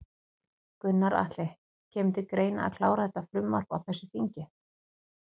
Gunnar Atli: Kemur til greina að klára þetta frumvarp á þessu þingi?